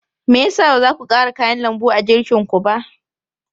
Me ya sa ba za ku ƙara kayan lambu a girkinku ba?